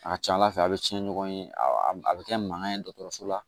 A ka ca ala fɛ a bɛ cɛn ɲɔgɔn ye a bɛ kɛ mankan ye dɔgɔtɔrɔso la